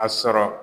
A sɔrɔ